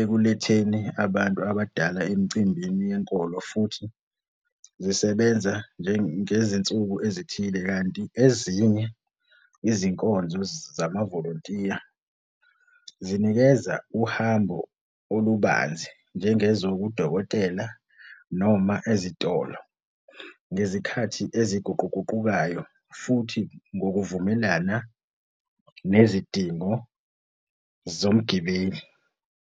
ekuletheni abantu abadala emcimbini yenkolo futhi zisebenza ngezinsuku ezithile. Kanti ezinye izinkonzo zama volontiya zinikeza uhambo olubanzi njengezokudokotela noma ezitolo ngezikhathi eziguquguqukayo, futhi ngokuvumelana nezidingo zomgibeli.